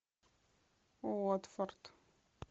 уотфорд